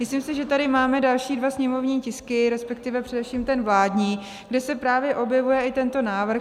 Myslím si, že tady máme další dva sněmovní tisky, respektive především ten vládní, kde se právě objevuje i tento návrh.